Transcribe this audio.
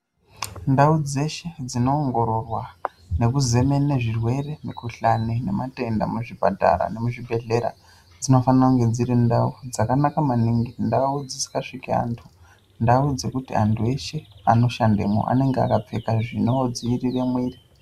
Ndau dzeshe dzinoongororwa nekuzemene zvirwere, mikuhlani nematenda muzvipatara nemuzvibhedhlera, dzinofanira kunge dziri ndau dzakanaka maningi, ndau dzisingasviki antu, ndau dzekuti antu eshe anoshandemwo anenge akapfeka zvinodziirire mwiiri.